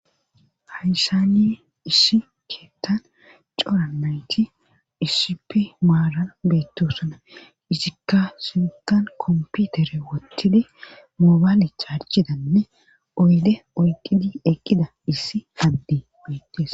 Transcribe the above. Hayssaniye ishi keettan cora nayti issipi maaran beettosana isikka sintan komputere wottidi moobaalec charchidanne oyde oyqqidi eqqida issi addi beettees